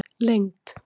lengd